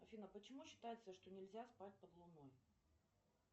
афина почему считается что нельзя спать под луной